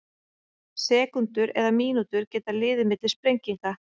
Sekúndur eða mínútur geta liðið milli sprenginga.